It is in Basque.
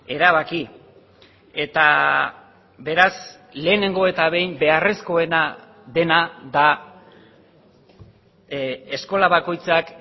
erabaki eta beraz lehenengo eta behin beharrezkoena dena da eskola bakoitzak